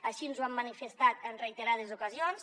així ens ho han manifestat en reiterades ocasions